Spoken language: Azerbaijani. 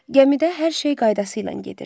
Gəmidə hər şey qaydasıyla gedirdi.